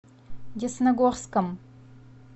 десногорском